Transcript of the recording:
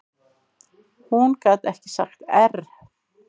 Hún gat ekki sagt err.